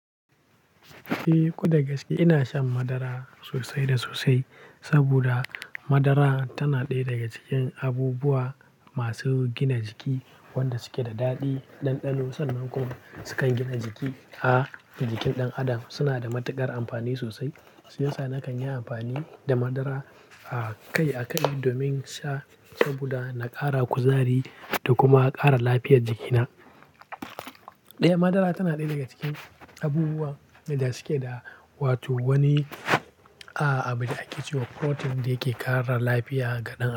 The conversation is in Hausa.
Eh ko da gaske ina shan madara sosai da sosai, saboda madara tana ɗaya daga cikin abubuwa masu gina jiki wanda suke da daɗi. Ɗanɗano sannan kuma sukan gina jiki a jikin ɗan adam. Suna da matuƙar amfani sosai. Shi yasa na kan yi amfani da madara a kai a kai domin sha saboda na ƙara kuzari da kuma ƙara lafiyar jikina. Ɗaya madara tana ɗaya daga cikin abubuwa wanda suke da wato wani a-abi da ake cewa "protein" da yake ƙara lafiya ga ɗan adam.